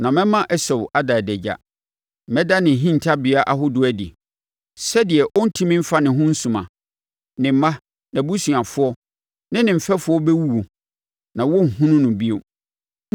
Na mɛma Esau ada adagya. Mɛda ne hintabea ahodoɔ adi, sɛdeɛ ɔrentumi mfa ne ho nsuma. Ne mma, nʼabusuafoɔ ne ne mfɛfoɔ bɛwuwu, na wɔrenhunu no bio.